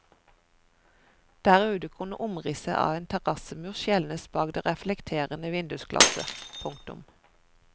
Der ute kunne omrisset av en terrassemur skjelnes bak det reflekterende vindusglasset. punktum